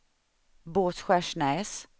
Båtskärsnäs